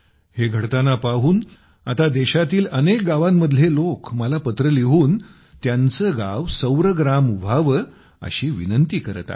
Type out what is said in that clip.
हे घडताना पाहून आता देशातील अनेक गावांमधले लोक मला पत्र लिहून त्यांचे गाव सौर ग्राम व्हावे अशी विनंती करत आहेत